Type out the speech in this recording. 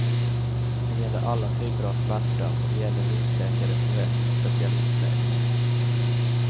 Det gäller alla typer av smärta och det gäller husläkare såväl som specialistläkare.